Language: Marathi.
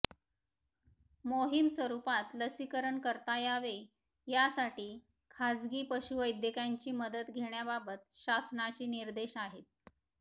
मोहीम स्वरुपात लसीकरण करता यावे यासाठी खासगी पशुवैद्यकांची मदत घेण्याबाबत शासनाचे निर्देश आहेत